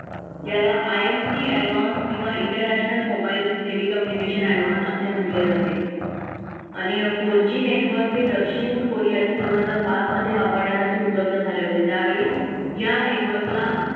याला imt advance किंवा international international telecommunication advance असे म्हटले जाते. आणि four g network हे दक्षिण कोरियातील दोन हजार पाच मध्ये वापरण्यासाठी उपलब्ध झाले होते त्यावेळी या network ला,